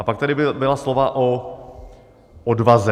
A pak tady byla slova o odvaze.